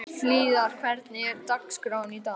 Hlíðar, hvernig er dagskráin í dag?